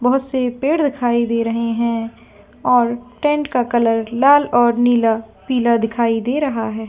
बहुत से पेड़ दिखाई दे रहे है और टेंट का कलर लाल और नीला पीला दिखाई दे रहा है।